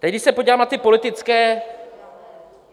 Teď, když se podívám na ty politické...